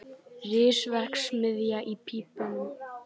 Risaverksmiðja í pípunum